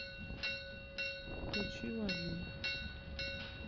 включи лавина